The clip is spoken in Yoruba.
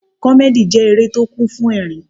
Comedy jẹ́ eré tó kún fún ẹ̀rín.